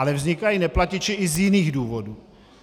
Ale vznikají neplatiči i z jiných důvodů.